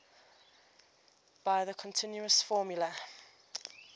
by the continuous formula